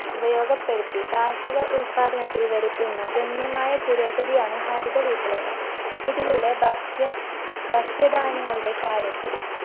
ഉപയോഗപ്പെടുത്തി കാർഷിക ഉല്പാദനത്തിൽ വരുത്തുന്ന ഗണ്യമായ പുരോഗതിയാണ് ഹരിതവിപ്ലവം ഇതിലൂടെ ഭക്ഷ്യ ഭക്ഷ്യ ധാന്യങ്ങളുടെ കാര്യത്തിൽ